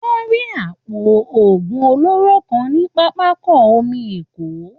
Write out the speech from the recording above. Wọ́n rí àpò òògùn olóró kan ní pápákọ omi Èkó